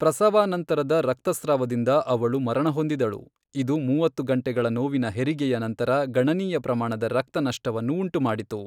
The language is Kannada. ಪ್ರಸವಾನಂತರದ ರಕ್ತಸ್ರಾವದಿಂದ ಅವಳು ಮರಣಹೊಂದಿದಳು, ಇದು ಮೂವತ್ತು ಗಂಟೆಗಳ ನೋವಿನ ಹೆರಿಗೆಯ ನಂತರ ಗಣನೀಯ ಪ್ರಮಾಣದ ರಕ್ತ ನಷ್ಟವನ್ನು ಉಂಟುಮಾಡಿತು.